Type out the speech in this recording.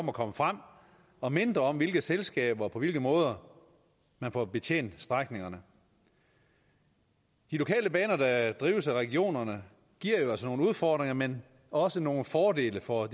om at komme frem og mindre om hvilke selskaber på hvilke måder man får betjent strækningerne de lokale baner der drives af regionerne giver jo altså nogle udfordringer men også nogle fordele for